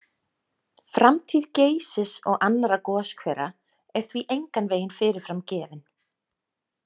Framtíð Geysis og annarra goshvera er því engan veginn fyrirfram gefin.